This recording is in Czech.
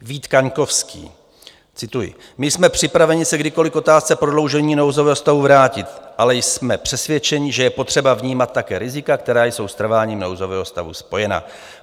Vít Kaňkovský - cituji: My jsme připraveni se kdykoli k otázce prodloužení nouzového stavu vrátit, ale jsme přesvědčeni, že je potřeba vnímat také rizika, která jsou s trváním nouzového stavu spojena.